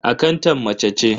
Akantan mace ce.